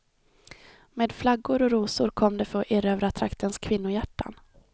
Med flaggor och rosor kom de för att erövra traktens kvinnohjärtan.